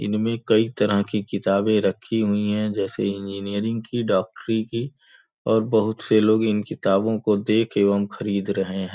इनमें कई तरह की किताबें रखी हुई हैं जैसे इंजीनियरिंग की डाक्टरी की और बहुत से लोग इन किताबो को देख एवं खरीद रहे हैं।